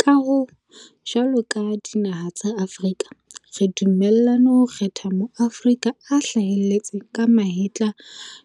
Ka hoo, jwalo ka dinaha tsa Afrika re dumellane ho kgetha Maaforika a hlaheletseng ka mahetla